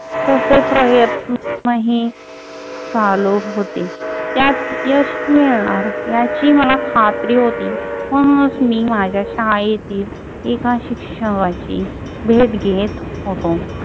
तसे प्रयत्नही चालू होते. त्यात यश मिळणार याची मला खात्री होती. म्हणूनच मी माझ्या शाळेतील एका शिक्षकाची भेट घेत होतो.